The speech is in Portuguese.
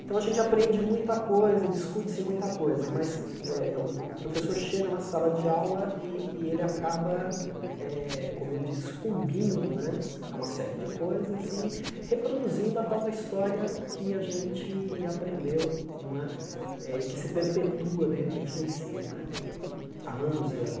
Então a gente aprende muita coisa, discute-se muita coisa, mas eh eh o o professor chega na sala de aula e e ele acaba, eh como eu disse, sucumbindo né a uma série de coisas e reproduzindo a tal da história que a gente aprendeu não é e que se perpetua, de repente, no ensino né há anos e anos.